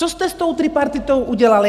Co jste s tou tripartitou udělal?